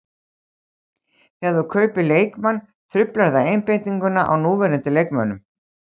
Þegar þú kaupir leikmann truflar það einbeitinguna á núverandi leikmönnum.